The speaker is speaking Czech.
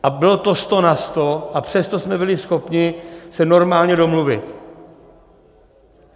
A bylo to sto na sto, a přesto jsme byli schopni se normálně domluvit!